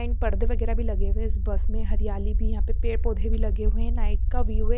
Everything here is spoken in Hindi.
यही परदे वगेरा भी लगे हुए है इस बस में हरयाली भी है यहाँ पे पेड़ पौधे भी लगे हुए है नाईट का व्यू है।